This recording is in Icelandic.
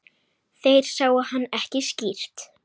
Þeir sáu hann ekki skýrt.